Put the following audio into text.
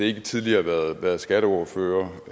ikke tidligere været skatteordfører